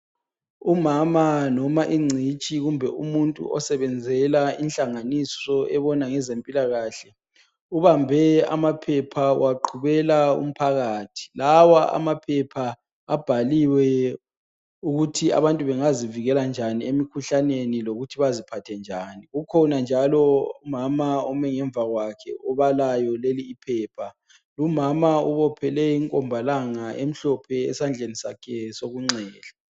Umama noma ingcitshi kumbe umuntu osebenzela inhlanganiso ebona ngeze mpilakahle. Ubambe amaphepha uwaqhubela umphakathi lawa amaphepha abhaliwe ukuthi abantu bengazivikela njani emikhuhlaneni lokuthi baziphathe njani. Kukhona njalo umama omi ngemuva kwakhe obalayo leli iphepha, umama ubophele inkombalanga emhlophe esandleni sakhe sokunxele.